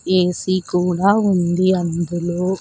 AC కూడా ఉంది అందులో.